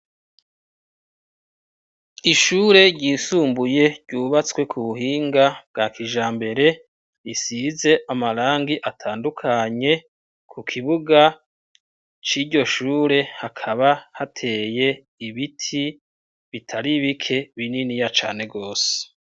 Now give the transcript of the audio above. Ishure ryisumbuye ryubatswe ku buhinga bwa kijambere, risize amarangi atandukanye, ku kibuga c'iryo shure hakaba hateye ibiti bitari bike bininiya cane gose.